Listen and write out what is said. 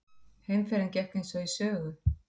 Heimferðin gekk eins og í sögu.